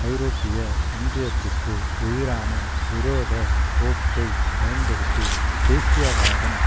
ஐரோப்பிய ஒன்றியத்திற்கு எதிரான விரோத போக்கைப் பயன்படுத்தி தேசியவாதம்